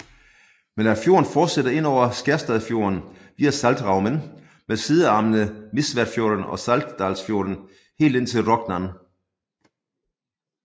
Men at fjorden fortsætter indover i Skjerstadfjorden via Saltstraumen med sidearmene Misværfjorden og Saltdalsfjorden helt ind til Rognan